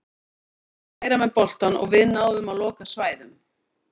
Þeir voru meira með boltann og við náðum að loka svæðum.